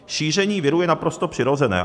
Šíření viru je naprosto přirozené.